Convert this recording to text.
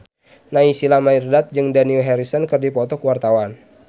Naysila Mirdad jeung Dani Harrison keur dipoto ku wartawan